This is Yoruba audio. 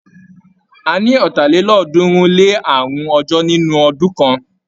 A ní ọ̀tàlélọ́ọ̀ọ́dúnrún-lé-àrún ọjọ́ nínú ọdún kan.